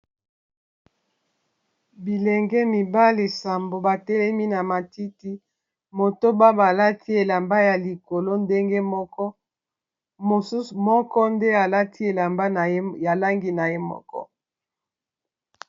Bilenge mibale nsambo batelemi na matiti, motoba balati elamba ya likolo ndenge moko. Mosusu moko nde alati elamba ya langi na ye moko.